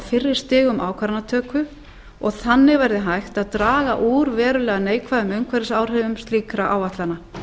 fyrri stigum ákvarðanatöku og þannig verði hægt að draga úr verulega neikvæðum umhverfisáhrifum slíkra áætlana